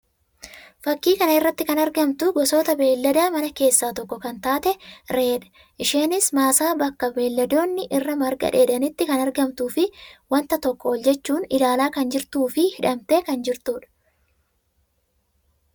Fakkii kana irratti kan argamtu gosoota beeylada manaa keessaa tokko kan taate Re'ee dha. Isheenis maasaa bakka beeyladoonni irraa marga dheedanitti kan argamtuu fi wanta tokko ol jechuun ilaalaa kan jirtuu fi hidhamtee kan jirtuu dha.